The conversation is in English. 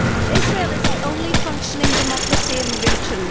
Israel is the only functioning democracy in the region.